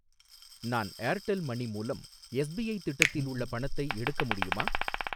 நான் Airtel money மூலம் SIP திட்டத்தில் உள்ள பணத்தை எடுக்க முடியுமா?